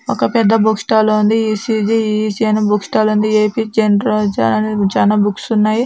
ఒక పెద్ద book stall ఉంది ఇ.సి.జి. ఇ.ఇ.సీ. అని బుక్ స్టాల్ ఉంది ఏ.పీ. జన్రా జ అనే చానా బుక్స్ ఉన్నాయి.